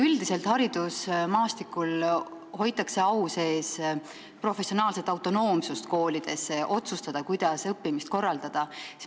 Üldiselt hoitakse haridusmaastikul au sees professionaalset autonoomsust, nii et koolid saavad ise otsustada, kuidas õppimist korraldada.